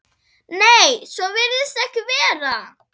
Nei, svo virðist ekki vera.